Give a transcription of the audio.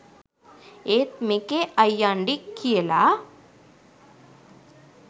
ඒත් මෙකේ අයියංඩි කියලා